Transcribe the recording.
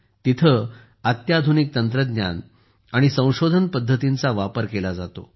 तिथे अत्याधुनिक तंत्रज्ञान आणि संशोधन पद्धतींचा वापर केला जातो